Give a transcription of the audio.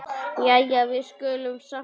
Jæja, við skulum samt byrja.